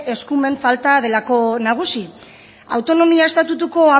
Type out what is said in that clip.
eskumen falta delako nagusi autonomia estatutuko